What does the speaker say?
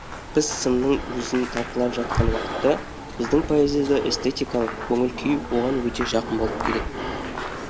біз сынның өзін талқылап жатқан уақытта біздің поэзияда эстетикалық көңіл күй оған өте жақын болып келеді